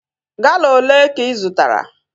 Gala olee ka ị zụtara?